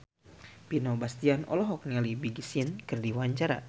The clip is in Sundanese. Vino Bastian olohok ningali Big Sean keur diwawancara